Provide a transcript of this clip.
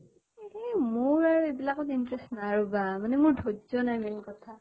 য়ে মোৰ আৰু এইবিলাকত interest নাই ৰʼবা মানে মোৰ ধয্য় নাই main কথা